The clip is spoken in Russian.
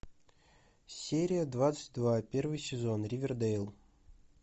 серия двадцать два первый сезон ривердейл